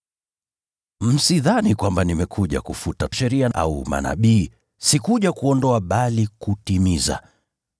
“Msidhani kwamba nimekuja kufuta Sheria au Manabii; sikuja kuondoa bali kutimiza.